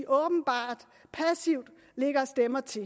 åbenbart passivt lægger stemmer til